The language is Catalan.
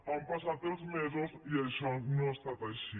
han passat els mesos i això no ha estat així